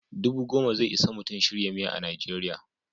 Dubu goma ze isa Mutum shirya miya a Najeriya.